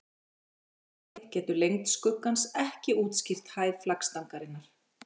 Í öllu falli getur lengd skuggans ekki útskýrt hæð flaggstangarinnar.